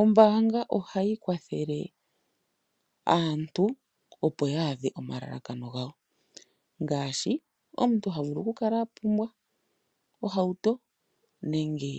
Ombanga oha yi kwathele aantu opo ya adhe omalalakano gawo ngashi omuntu ha vulu ku kala apumbwa ohauto nenge